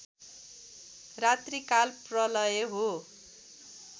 रात्रिकाल प्रलय हो